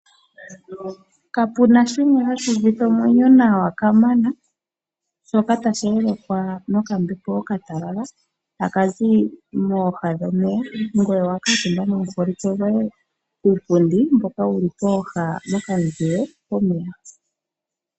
Kapu na shimwe hashi uvitha omwenyo nawa kamana shoka tashi yelekwa nokambepo okatalala taka zi mooha dhomeya ngoye owa kuutumba nomuholike goye kuupundi mboka wu li pooha dhokamuzile pomeya.